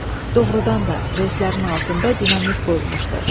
Doğrudan da, reyslərin altında dinamit qoyulmuşdu.